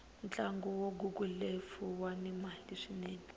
ntlagu wa golufu wuni mali swinene